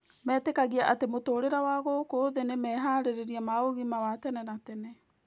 Metĩkagia atĩ mũtũũrĩre wa gũkũ thĩ nĩ meharĩria ma ũgima wa tene na tene.